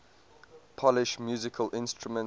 polish musical instruments